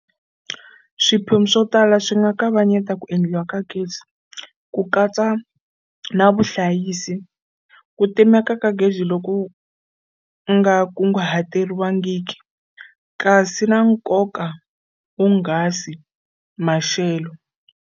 Swiphemu swo tala swi nga kavanyeta ku endliwa ka gezi, ku katsa na vuhlayisi, ku timeka ka gezi loku nga kunguhateriwangiki, kasi xa nkoka wonghasi, maxelo.